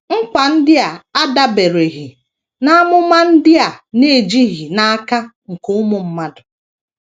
Nkwa ndị a adabereghị n’amụma ndị a na - ejighị n’aka nke ụmụ mmadụ.